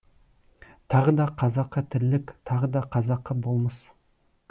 тағы да қазақы тірлік тағы да қазақы болмыс